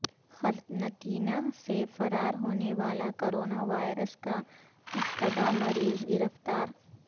قرنطینہ سے فرار ہونے والا کرونا وائر س کا مشتبہ مریض گرفتار